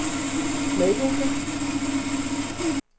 meddelte